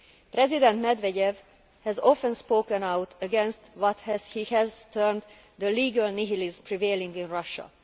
President Medvedev has often spoken out against what he has termed the legal nihilism prevailing in Russia.